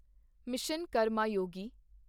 mission Karmayogi